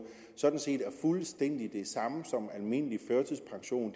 sådan set er fuldstændig den samme som almindelig førtidspension